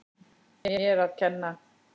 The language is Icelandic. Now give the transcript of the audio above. Mér að kenna